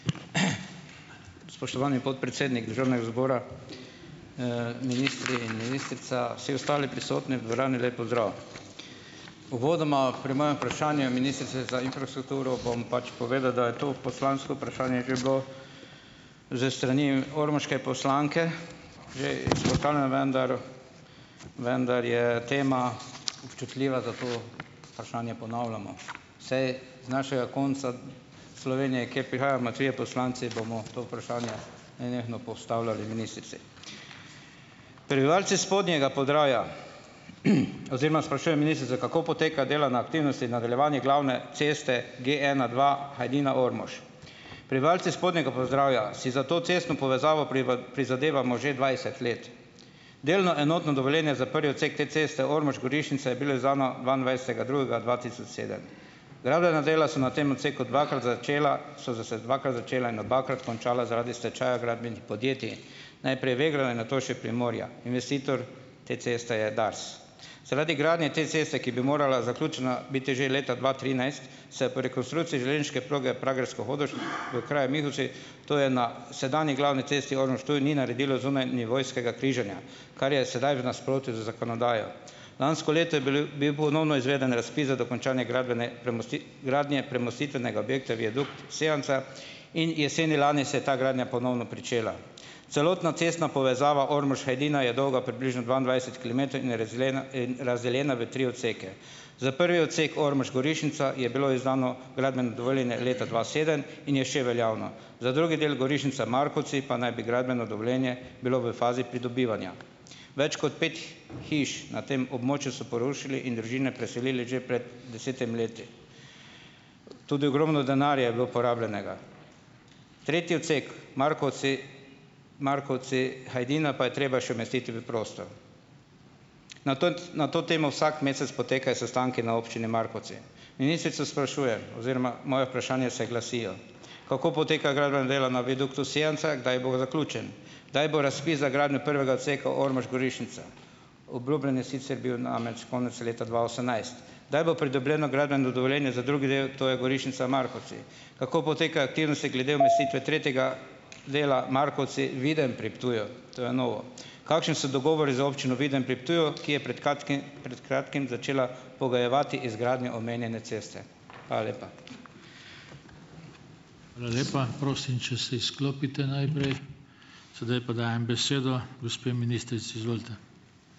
Spoštovani podpredsednik državnega zbora. ministri in ministrica, vsi ostali prisotni v dvorani, lep pozdrav . Uvodoma pri mojem vprašanju je ministrica za infrastrukturo, bom pač povedal, da je to poslansko vprašanje že bilo s strani ormoške poslanke, že izpostavljeno , vendar, vendar je tema občutljiva, zato vprašanje ponavljamo. Saj z našega konca Slovenije, ker prihajamo trije poslanci, bomo to vprašanje nenehno postavljali ministrici. Prebivalci spodnjega Podravja, oziroma sprašujem ministrica, kako poteka delo na aktivnosti nadaljevanje glavne ceste GE ena dva Hajdina-Ormož. Prebivalci spodnjega Podravja si za to cestno povezavo prizadevamo že dvajset let. Delno enotno dovoljenje za prvi odsek te ceste Ormož-Gorišnica je bilo izdano dvaindvajsetega drugega dva tisoč sedem. Gradbena dela so na tem odseku dvakrat začela, so zdaj se dvakrat začela in obakrat končala zaradi stečaja gradbenih podjetij. Najprej Vegro in nato še Primorja. Investitor te ceste je Dars. Zaradi gradnje te ceste, ki bi morala zaključena biti že leta dva trinajst, se pri rekonstrukciji železniške proge Pragersko-Hodoš v kraju Mihoci, to je na sedanji glavni cesti Ormož-Ptuj, ni naredilo zunajnivojskega križanja. Kar je sedaj v nasprotju z zakonodajo. Lansko leto je bil ponovno izveden razpis za dokončanje gradbene gradnje premostitvenega objekta viadukt Sevnica in jeseni lani se je ta gradnja ponovno pričela. Celotna cestna povezava Ormož-Hajdina je dolga približno dvaindvajset kilometrov in je in razdeljena na tri odseke. Za prvi odsek Ormož-Gorišnica je bilo izdano gradbeno dovoljenje leta dva sedem in je še veljavno. Za drugi del, Gorišnica-Markovci, pa naj bi gradbeno dovoljenje bilo v fazi pridobivanja. Več kot pet hiš na tem območju so porušili in družine preselili že pred desetim leti. Tudi ogromno denarja je bilo porabljenega. Tretji odsek, Markovci, Markovci-Hajdina pa je treba še umestiti v prostor. Na na to temo vsak mesec potekajo sestanki na občini Markovci. Ministrico sprašujem. Oziroma moja vprašanja se glasijo: Kako potekajo gradbena dela na viaduktu Sevnica, kdaj bo zaključen? Kdaj bo razpis za gradnjo prvega odseka Ormož-Gorišnica? Obljubljen je sicer bil namreč konec leta dva osemnajst. Kdaj bo pridobljeno gradbeno dovoljenje za drugi del, torej Gorišnica-Markovci? Kako potekajo aktivnosti glede umestitve tretjega dela Markovci-Videm pri Ptuju? To je novo. Kakšni so dogovori za občino Videm pri Ptuju, ki je prej kratkim začela pogojevati izgradnjo omenjene ceste. Hvala lepa. Hvala lepa. Prosim, če se izklopite najprej. Sedaj pa dajem besedo gospe ministrici, izvolite.